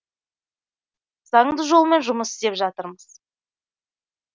заңды жолмен жұмыс істеп жатырмыз